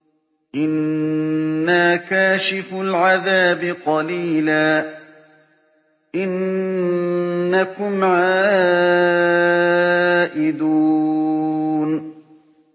إِنَّا كَاشِفُو الْعَذَابِ قَلِيلًا ۚ إِنَّكُمْ عَائِدُونَ